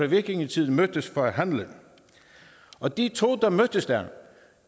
vikingetiden mødtes for at handle og de to der mødtes der